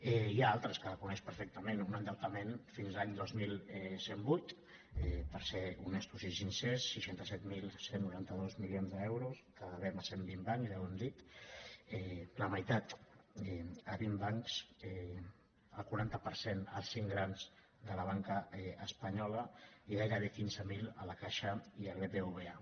n’hi ha altres que coneix perfectament un endeutament fins a l’any dos mil cent i vuit per ser honestos i sincers seixanta set mil cent i noranta dos milions d’euros que devem a cent vint bancs ja ho hem dit la meitat a vint bancs el quaranta per cent als cinc grans de la banca espanyola i gairebé quinze mil a la caixa i al bbva